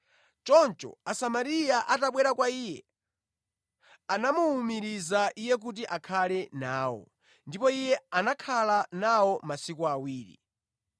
Choncho Asamariya atabwera kwa Iye, anamuwumiriza Iye kuti akhale nawo, ndipo Iye anakhala nawo masiku awiri.